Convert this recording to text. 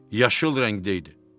Yaşıl rəngdəydi.